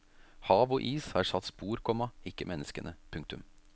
Hav og is har satt spor, komma ikke menneskene. punktum